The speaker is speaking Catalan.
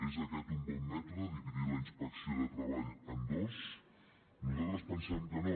és aquest un bon mètode dividir la inspecció de treball en dos nosaltres pensem que no